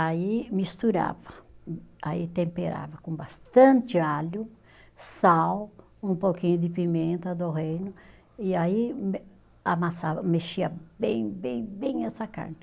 Aí misturava, aí temperava com bastante alho, sal, um pouquinho de pimenta do reino, e aí eh amassava, mexia bem, bem, bem essa carne.